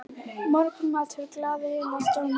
Morgunmatur galaði hann og stormaði inn.